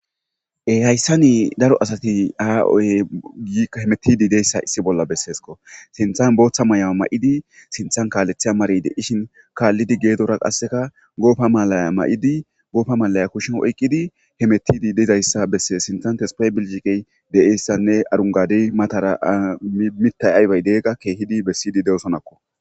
hayssa nii daro asati haa oy giikka hemetidi deyssa issi bolla besseesko sinthan booththa may7awa ma7idi sinthan kaalethya marede ishin kaallidi geedora qasseka goofa malaya ma7idi goofa malaya kushin oyqqidi hemetidi deizayssa besses sinthantespay bilgiqey de7eyssanne arungadi matara mitay aybay deegga keehidi bessidi de7osonakko